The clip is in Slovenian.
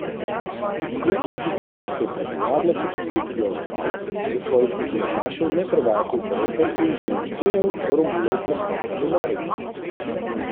Klub iz Ljubljane se je pred uradno potrditvijo odzval, da svojih nogometašev ne prodaja konkurentom in demantiral Romunov prestop v Maribor.